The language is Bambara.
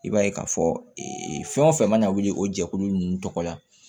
I b'a ye k'a fɔ fɛn o fɛn mana wuli o jɛkulu ninnu tɔgɔ la